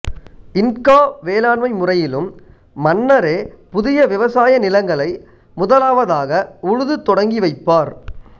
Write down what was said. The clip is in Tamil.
இன்கா வேளாண்மை முறையிலும் மன்னரே புதிய விவசாய நிலங்களை முதலாவதாக உழுது தொடங்கி வைப்பார்